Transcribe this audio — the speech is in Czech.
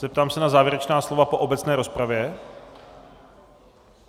Zeptám se na závěrečná slova po obecné rozpravě.